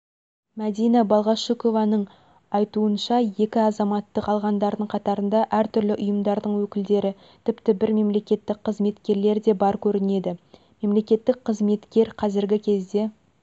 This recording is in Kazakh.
мәдина балғашукованың айтуынша екі азаматтық алғандардың қатарында әртүрлі ұйымдардың өкілдері тіпті бір мемлекеттік қызметкер де бар көрінеді мемлекеттік қызметкер қазіргі кезде